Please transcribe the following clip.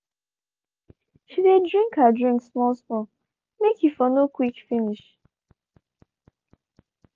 she dey drink her drink small small make he for no quick finish.